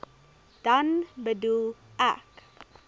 dan bedoel ek